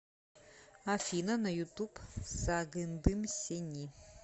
афина на ютуб сагындым сени